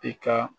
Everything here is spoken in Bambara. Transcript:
I ka